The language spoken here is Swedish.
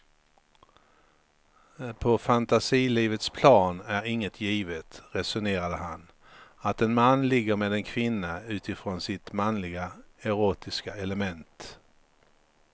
På fantasilivets plan är inte givet, resonerar han, att en man ligger med en kvinna utifrån sitt manliga erotiska element.